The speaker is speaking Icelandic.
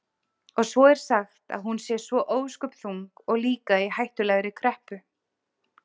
Og svo er sagt að hún sé svo ósköp þung og líka í hættulegri kreppu.